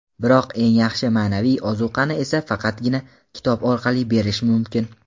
biroq eng yaxshi ma’naviy ozuqani esa faqatgina kitob orqali berish mumkin.